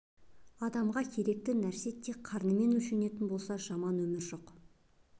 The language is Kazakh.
адамға керекті нәрсе тек қарынмен өлшенетін болса рас жаман өмір жоқ